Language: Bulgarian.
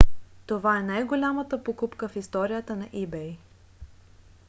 това е най-голямата покупка в историята на ebay